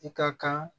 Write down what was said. I ka kan